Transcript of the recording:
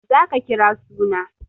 Za ka kira suna!